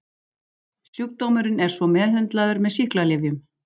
Sjúkdómurinn er svo meðhöndlaður með sýklalyfjum.